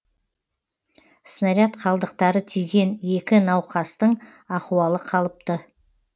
снаряд қалдықтары тиген екі науқастың ахуалы қалыпты